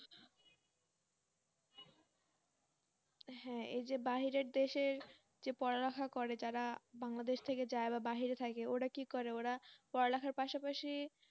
হ্যাঁ এই যে বাহিরের দেশের যে পড়ালেখা করে যারা Bangladesh থেকে যায় বা বাহিরে থাকে ওরা কি করে ওরা পড়ালেখার পাশাপাশি